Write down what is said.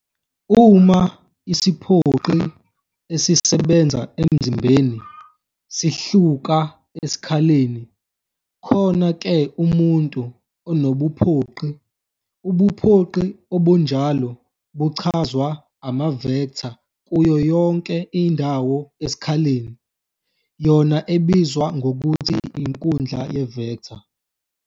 Uma isiphoqi esisebenza emzimbeni sihluka esikhaleni, khona-ke umuntu unobuphoqi, ubuphoqi obunjalo buchazwa ama-vector kuyo yonke indawo esikhaleni, yona ebizwa ngokuthi "inkundla ye-vector".